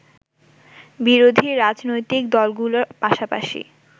বিরোধী রাজনৈতিক দলগুলোর পাশাপাশি